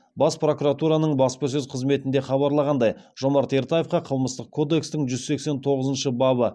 бас прокуратураның баспасөз қызметінде хабарланғандай жомарт ертаевқа қылмыстық кодекстің жүз сексен тоғызыншы бабы